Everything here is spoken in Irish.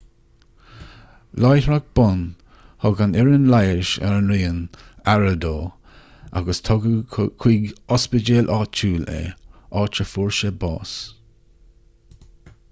láithreach bonn thug an fhoireann leighis ar an raon aire dó agus tugadh chuig ospidéal áitiúil é áit a fuair sé bás